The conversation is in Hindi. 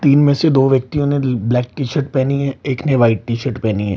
तीन में से दो व्यक्तियों ने ल ब्लैक टी-शर्ट पेहनी है एक ने वाइट टी-शर्ट पेहनी है।